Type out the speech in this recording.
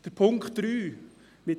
Betreffend Punkt 3